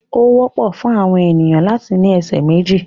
Ó wọ́pọ̀ fún àwọn ènìyàn láti ní ẹsẹ̀ méjì.